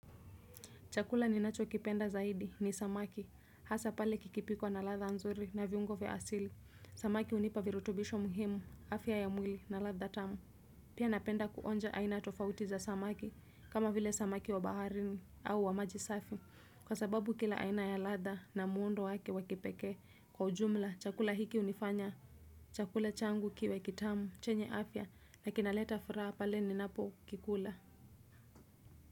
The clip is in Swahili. Chakula ninacho kipenda zaidi ni samaki, hasa pale kikipikwa na ladha nzuri na viungo vya asili, samaki hunipa virutubisho muhimu, afya ya mwili na ladha tamu. Pia napenda kuonja aina tofauti za samaki, kama vile samaki wa baharini au wa maji safi, kwa sababu kila aina ya ladha na muundo wake wa kipekee. Kwa ujumla, chakula hiki hunifanya, chakula changu kiwe kitamu, chenye afya, na kinaleta furaha pale ninapo kikula.